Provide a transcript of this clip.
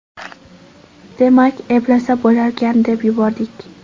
Demak, eplasa bo‘larkan, deb yubordik.